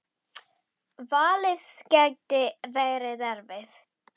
Valið gæti verið erfitt.